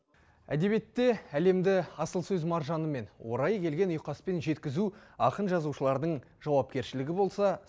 әдебиетте әлемді асыл сөз маржанымен орайы келген ұйқаспен жеткізу ақын жазушылардың жауапкершілігі болса